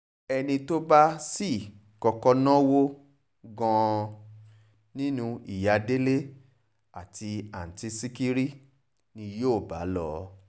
ẹni tó bá sì kọ́kọ́ náwó gan nínú ìyá délé àti àtúntì ṣìkírí ni yóò bá lò